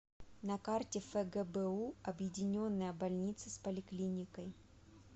на карте фгбу объединенная больница с поликлиникой